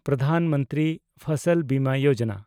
Pradhan Mantri Fasal Bima Yojana